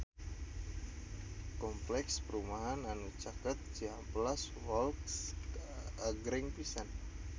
Kompleks perumahan anu caket Cihampelas Walk agreng pisan